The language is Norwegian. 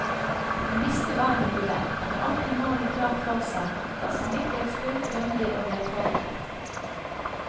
Hun visste hva hun ville, hadde alltid målet klart for seg, var samvittighetsfull, grundig og velforberedt.